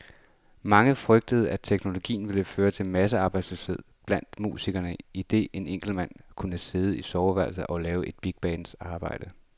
Mange frygtede, at teknologien ville føre til massearbejdsløshed blandt musikere, idet en enkelt mand kunne sidde i soveværelset og lave et bigbands arbejde.